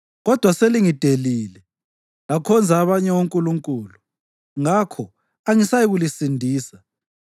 Kodwa selingidelile lakhonza abanye onkulunkulu, ngakho angisayikulisindisa.